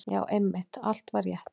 Já, einmitt, allt var rétt.